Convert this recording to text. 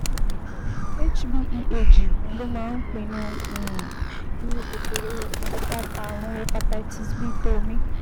cs] HbeAg ló máa ń pinnu um irú kòkòrò ààrùn hepatitis B tó o ní